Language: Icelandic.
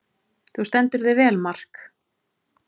Þú stendur þig vel, Mark!